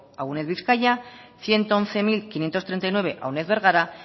a uned bizkaia ciento once mil quinientos treinta y nueve a uned bergara